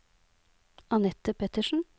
Anette Pettersen